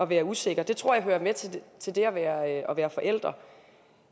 være usikker det tror jeg hører med til det at være forældre